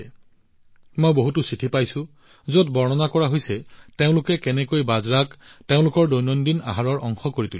মই বহুতো চিঠি পাইছো যত বৰ্ণনা কৰা হৈছে যে তেওঁলোকে কেনেকৈ বাজৰাক তেওঁলোকৰ দৈনন্দিন আহাৰৰ অংশ কৰি তুলিছে